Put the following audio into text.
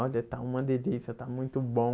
Olha, está uma delícia, está muito bom.